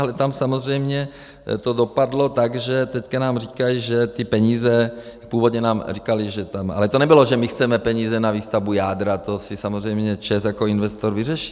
Ale tam samozřejmě to dopadlo tak, že teď nám říkají, že ty peníze - původně nám říkali, že tam... ale to nebylo, že my chceme peníze na výstavbu jádra, to si samozřejmě ČEZ jako investor vyřeší.